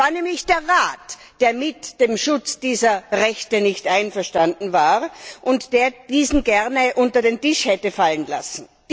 Es war nämlich der Rat, der mit dem Schutz dieser Rechte nicht einverstanden war und der diesen gerne unter den Tisch hätte fallen lassen.